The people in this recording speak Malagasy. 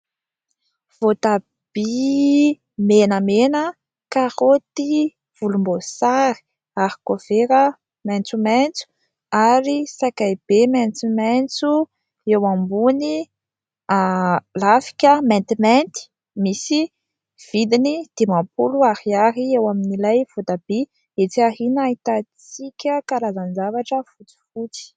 Voatabia menamena, karoty volombosary, arikovera maitsomaitso ary sakay be maitsomaitso eo ambony lafika maintimainty ; misy vidiny dimampolo ariary eo amin'ilay voatabia etsy aoriana ahitantsika karazan-javatra fotsifotsy.